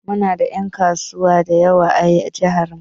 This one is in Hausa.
Mu na da en kasuwa dayawa a jihar mu.